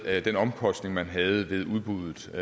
med den omkostning man havde ved udbuddet og